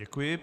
Děkuji.